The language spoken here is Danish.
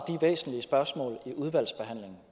væsentlige spørgsmål i udvalgsbehandlingen